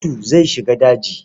Audu zai shiga daji.